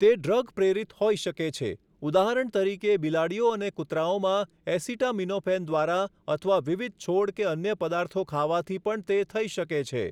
તે ડ્રગ પ્રેરિત હોઈ શકે છે, ઉદાહરણ તરીકે બિલાડીઓ અને કૂતરાઓમાં એસિટામિનોફેન દ્વારા, અથવા વિવિધ છોડ કે અન્ય પદાર્થો ખાવાથી પણ તે થઈ શકે છે.